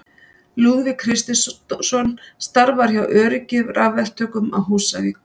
Lúðvík Kristinsson starfar hjá Öryggi rafverktökum á Húsavík.